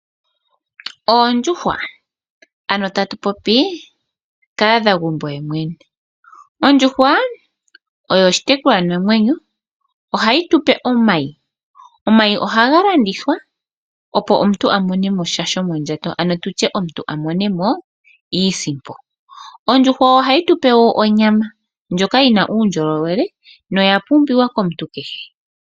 Oondjuhwa, ano tatu popi kahadhagumbo yemwene. Ondjuhwa oyo oshitekulwanamwenyo. Ohayi tu pe omayi. Omayi ohaga landithwa, opo omuntu a mone mo sha shomondjato, ano omuntu a mone mo iisimpo. Ondjuhwa ohayi tu pe onyama, ndjoka yi na uundjolowele noya pumbiwa komuntu kehe.